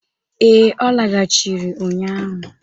Ee, ọ lagachịrị ụnyaahụ.